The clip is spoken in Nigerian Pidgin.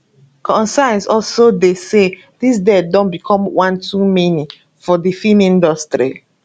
concerns also dey say dis deaths don become one too many for di feem industry